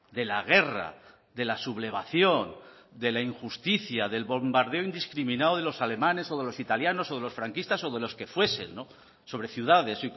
de la guerra de la sublevación de la injusticia del bombardeo indiscriminado de los alemanes o de los italianos o de los franquistas o de los que fuesen sobre ciudades